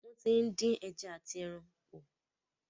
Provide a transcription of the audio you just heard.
Wọ́n ti ń dín ẹja àti ẹran pọ̀.